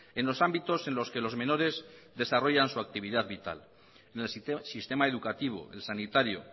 en los ámbitos en los que los menores desarrollan su actividad vital en el sistema educativo el sanitario